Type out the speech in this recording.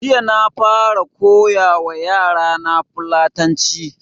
Jiya na fara koya wa yara na fulatanci